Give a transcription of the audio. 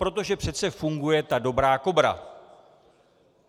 Protože přece funguje ta dobrá Kobra.